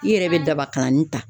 I yɛrɛ bɛ daba kalanni ta.